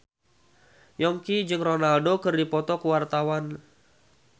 Yongki jeung Ronaldo keur dipoto ku wartawan